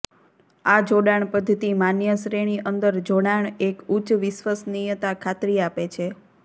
આ જોડાણ પદ્ધતિ માન્ય શ્રેણી અંદર જોડાણ એક ઉચ્ચ વિશ્વસનીયતા ખાતરી આપે છે